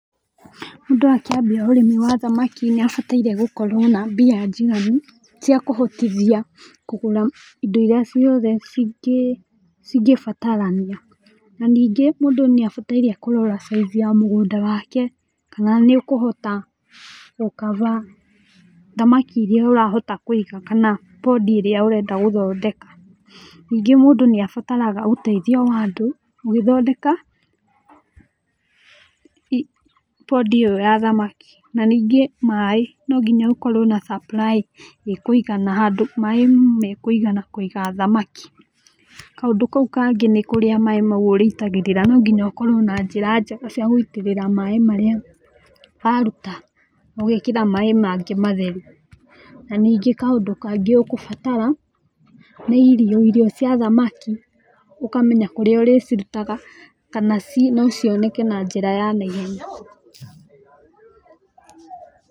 Mũndũ akĩambia ũrĩmi wa thamaki nĩ abataire gũkorwo na mbia njiganu ciakũhotithia kũgũra indo iria ciothe cingĩ cingĩbatarania, na ningĩ mũndũ nĩ abataire kũrora size ya mũgũnda wake, kana nĩũkũhota gũkaba thamaki iria ũrahota kũiga kana pondi ĩrĩa ũrenda gũthondeka, ningĩ mũndũ nĩ abataraga ũteithio wa andũ ũgĩthondeka pondi ĩyo ya thamaki na ningĩ maĩ no nginya ũkorwo na supply ĩkúũgana handũ maĩ mekũigana kũiga thamaki, kaundũ kau kangi nĩ kũria maĩ ũrĩitagĩrĩra, no nginya ũkorwo na njĩra njega cia gũitĩrĩra maĩ macio marĩa waruta ũgekĩra maĩ mangĩ matheru, na ningĩ kaũndũ kangĩ ũkũbatara nĩ irio, irio cia thamaki, ũkamenya kũrĩa ũrĩcirutaga kana no cioneke na njĩra ya naihenya.